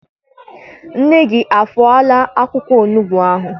Nne gị afọọla akwụkwọ onugbu ahụ?